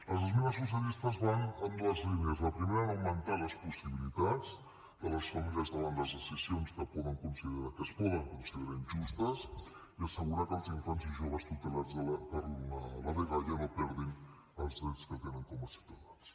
les esmenes socialistes van en dues línies la primera augmentar les possibilitats de les famílies davant les decisions que es poden considerar injustes i assegurar que els infants i joves tutelats per la dgaia no perdin els drets que tenen com a ciutadans